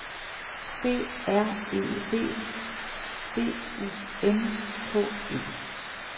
B R E V B U N K E